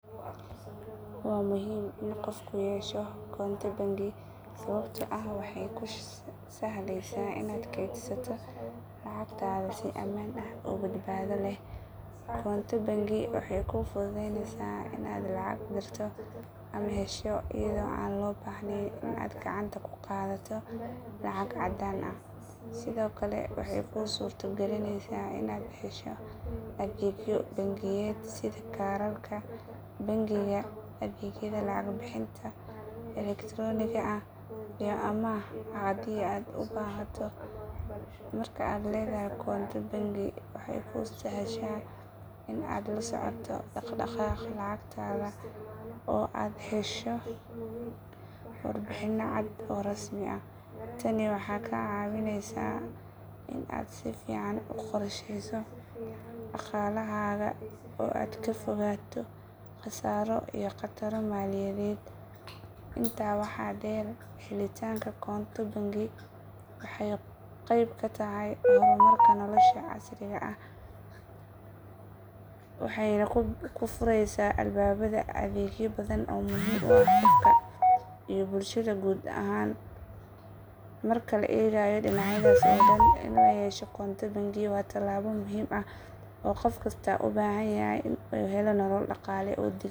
Waa muhiim in qofku yeesho koonto bangi sababtoo ah waxay kuu sahlaysaa inaad kaydsato lacagtaada si amaan ah oo badbaado leh. Koonto bangi waxay kuu fududaynaysaa inaad lacag dirto ama hesho iyadoo aan loo baahnayn in aad gacanta ku qaadato lacag caddaan ah. Sidoo kale waxay kuu suurta galinaysaa inaad hesho adeegyo bangiyeed sida kaararka bangiga, adeegyada lacag bixinta elektarooniga ah, iyo amaah haddii aad u baahato. Marka aad leedahay koonto bangi, waxay kuu sahashaa in aad la socoto dhaqdhaqaaqa lacagtaada oo aad hesho warbixino cad oo rasmi ah. Tani waxay kaa caawisaa in aad si fiican u qorshayso dhaqaalahaaga oo aad ka fogaato khasaaro iyo khataro maaliyadeed. Intaa waxaa dheer, helitaanka koonto bangi waxay qeyb ka tahay horumarka nolosha casriga ah waxayna kuu fureysaa albaabada adeegyo badan oo muhiim u ah qofka iyo bulshada guud ahaan. Marka la eego dhinacyadaas oo dhan, in la yeesho koonto bangi waa talaabo muhiim ah oo qof kasta uu u baahan yahay si uu u helo nolol dhaqaale oo deggan.